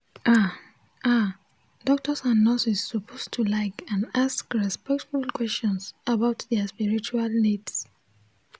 ah ah doctors and nurses suppose to like and ask respectful questions about dia spiritual needs